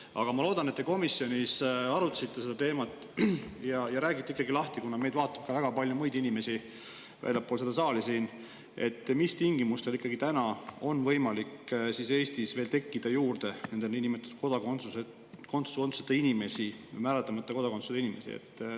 Aga ma loodan, et te komisjonis arutasite seda teemat ja räägite nüüd lahti – meid vaatab väga palju inimesi ka väljaspool seda saali siin –, mis tingimustel on võimalik, et Eestis tekib juurde niinimetatud kodakondsuseta inimesi, määratlemata kodakondsusega inimesi.